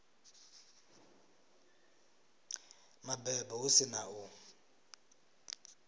mabebo hu si na u